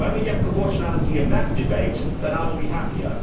When we get proportionality in that debate, then I will be happier.